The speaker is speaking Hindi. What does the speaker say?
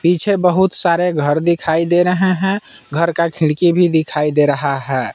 पीछे बहुत सारे घर दिखाई दे रहे हैं घर का खिड़की भी दिखाई दे रहा है।